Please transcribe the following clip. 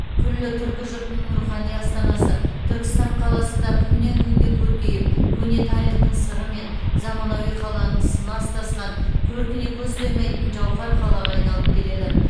күллі түркі жұртының рухани астанасы түркістан қаласы да күннен күнге көркейіп көне тарихтың сыры мен заманауи қаланың сыны астасқан көркіне көз тоймайтын жауһар қалаға айналып келеді